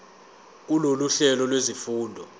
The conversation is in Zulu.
kulolu hlelo lwezifundo